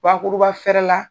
Bakuruba fɛrɛ la